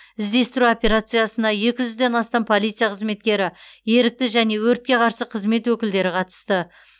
іздестіру операциясына екі жүзден астам полиция қызметкері ерікті және өртке қарсы қызмет өкілдері қатысты